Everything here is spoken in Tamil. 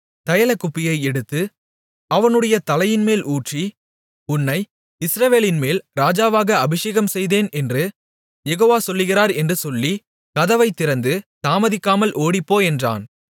தைலக்குப்பியை எடுத்து அவனுடைய தலையின்மேல் ஊற்றி உன்னை இஸ்ரவேலின்மேல் ராஜாவாக அபிஷேகம்செய்தேன் என்று யெகோவா சொல்லுகிறார் என்று சொல்லி கதவைத் திறந்து தாமதிக்காமல் ஓடிப்போ என்றான்